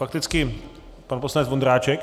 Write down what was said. Fakticky pan poslanec Vondráček.